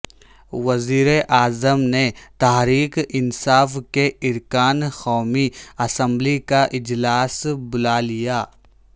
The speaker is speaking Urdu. وزیراعظم نے تحریک انصاف کے ارکان قومی اسمبلی کا اجلاس بلا لیا